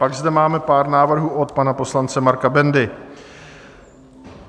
Pak zde máme pár návrhů od pana poslance Marka Bendy.